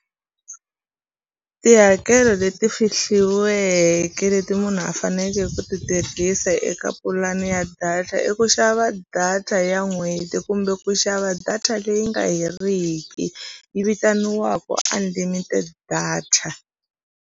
Tihakelo leti fihliweke leti munhu a fanekele ku ti tirhisa eka pulani ya data i ku xava data ya n'hweti kumbe ku xava data leyi nga heriki yi vitaniwaku unlimited data.